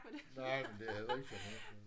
Nej men det er heller ikke så nemt